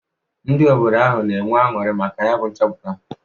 Ndị obodo ahụ na-enwe aṅụrị maka nyabụ nchọpụta.